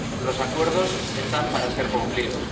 Los acuerdos están para ser cumplidos.